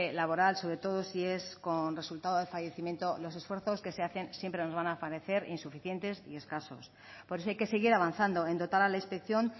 laboral sobre todo si es con resultado de fallecimiento los esfuerzos que se hacen siempre nos van a parecer insuficientes y escasos por eso hay que seguir avanzando en dotar a la inspección